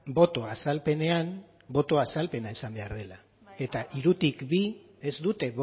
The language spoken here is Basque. boto azalpenean boto azalpena izan behar dela eta hirutik bi ez dute